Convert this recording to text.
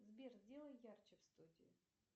сбер сделай ярче в студии